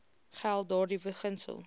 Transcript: geld daardie beginsel